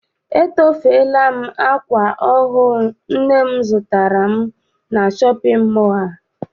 Etofela m akwa ahụ nne m zụtara m na shọpịn mọọ a.